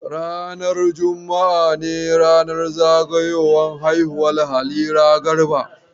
Ranar juma'a ne ranar zagayowar haihuwar Halira Garba.